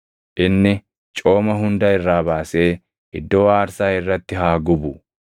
Inni cooma hunda irraa baasee iddoo aarsaa irratti haa gubu;